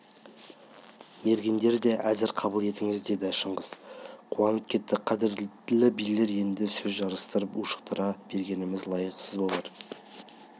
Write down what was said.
мергендер де әзір қабыл етіңіз деді шыңғыс қуанып кетті қадірлі билер енді сөз жарыстырып ушықтыра бергеніміз лайықсыз болар